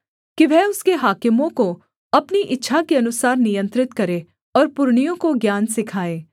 कि वह उसके हाकिमों को अपनी इच्छा के अनुसार नियंत्रित करे और पुरनियों को ज्ञान सिखाए